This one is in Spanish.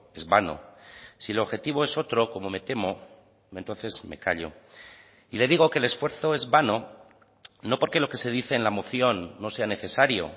es vano si el objetivo es otro como me temo entonces me callo y le digo que el esfuerzo es vano no porque lo que se dice en la moción no sea necesario